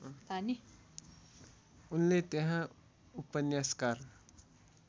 उनले त्यहाँ उपन्यासकार